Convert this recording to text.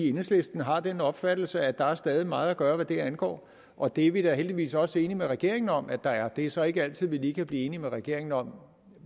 enhedslisten har den opfattelse at der stadig er meget at gøre hvad det angår og det er vi da heldigvis også enige med regeringen om at der er det er så ikke altid at vi lige kan blive enige med regeringen om